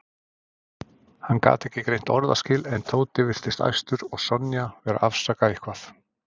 Hann gat ekki greint orðaskil en Tóti virtist æstur og Sonja vera að afsaka eitthvað.